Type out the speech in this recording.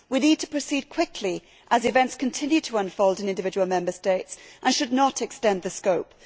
We need to proceed quickly, as events continue to unfold in individual Member States, and we should not extend the scope.